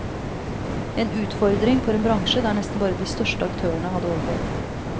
En utfordring for en bransje der nesten bare de største aktørene hadde overlevd.